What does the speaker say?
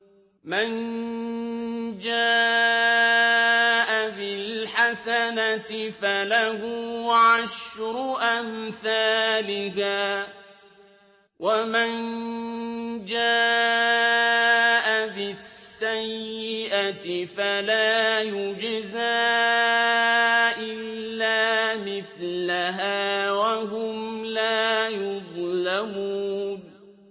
مَن جَاءَ بِالْحَسَنَةِ فَلَهُ عَشْرُ أَمْثَالِهَا ۖ وَمَن جَاءَ بِالسَّيِّئَةِ فَلَا يُجْزَىٰ إِلَّا مِثْلَهَا وَهُمْ لَا يُظْلَمُونَ